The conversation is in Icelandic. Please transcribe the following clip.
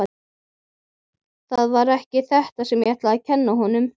Það var ekki þetta sem ég ætlaði að kenna honum.